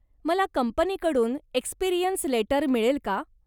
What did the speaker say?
मला कंपनीकडून experience letter मिळेल का?